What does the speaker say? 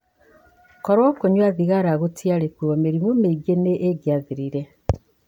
Korũo kũnyua thigara gũtiarĩ kuo, mĩrimũ mĩingĩ ni ĩngĩathirire.